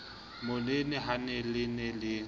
monene ha le ne le